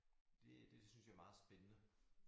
Det det synes jeg er meget spændende